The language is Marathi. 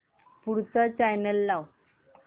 पुढचा चॅनल लाव